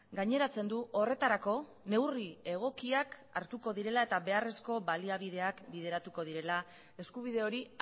gaineratzen du horretarako neurri egokiak hartuko direla eta beharrezko baliabideak bideratuko direla eskubide hori